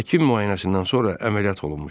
Həkim müayinəsindən sonra əməliyyat olunmuşdu.